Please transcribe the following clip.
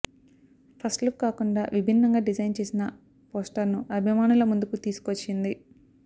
first look కాకుండా విభిన్నంగా design చేసిన పోస్టర్ను అభిమానుల ముందుకు తీసుకొచ్చింది